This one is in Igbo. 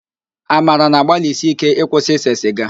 Amara na-agbalisi íké ịkwụsị ise sịga